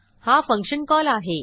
हा function call आहे